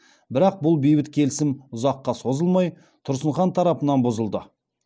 бірақ бұл бейбіт келісім ұзаққа созылмай тұрсын хан тарапынан бұзылды